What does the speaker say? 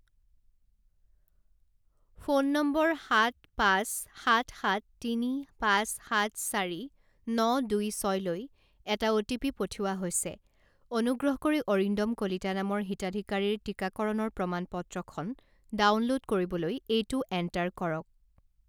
Phone নম্বৰ সাত পাঁচ সাত সাত তিনি পাঁচ সাত চাৰি ন দুই ছয়লৈ এটা অ'টিপি পঠিওৱা হৈছে। অনুগ্ৰহ কৰি অৰিন্দম কলিতা নামৰ হিতাধিকাৰীৰ টিকাকৰণৰ প্ৰমাণ পত্ৰখন ডাউনলোড কৰিবলৈ এইটো এণ্টাৰ কৰক।